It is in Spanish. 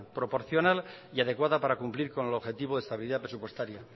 proporcional y adecuada para cumplir con el objetivo de estabilidad presupuestaria